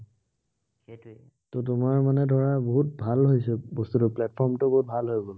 ত তোমাৰ মানে ধৰা বহুত ভাল হৈছে, বস্তুটো platform টো বহুত ভাল হৈ গল।